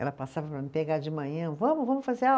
Ela passava para me pegar de manhã, vamos, vamos fazer aula.